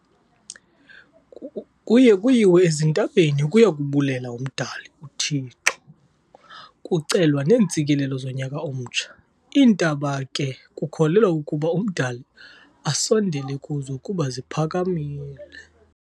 Kuye kuyiwe ezintabeni ukuyobulela umdali u 'Thixo' kucelwa neentsikelelo zonyaka omtsha, iintaba ke kukholelwa ukuba umdali asondele kuzo kuba ziphakamile.